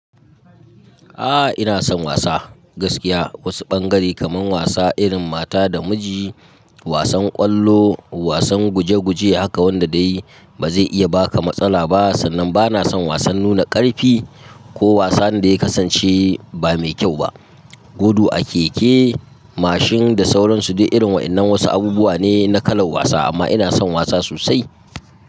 A'a, ina son wasa gaskiya. Wasu bangare kamar wasa irin mata da miji, wasan ƙwallo, wasan guje guje haka wanda dai ba zai iya baka matsala ba sannan bana son wasan nuna ƙarfi ko wasan da ya kasance ba mai kyau ba. Gudu a keke, mashin da sauran su duk irin waɗannan wasu abubuwa ne na kalan wasa amma ina son wasa sosai.